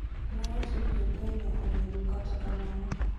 nowacho ni Jo-Kenya onego, kata kamano,